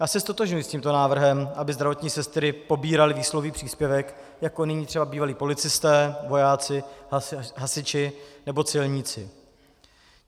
Já se ztotožňuji s tímto návrhem, aby zdravotní sestry pobíraly výsluhový příspěvek jako nyní třeba bývalí policisté, vojáci, hasiči nebo celníci.